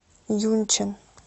юнчэн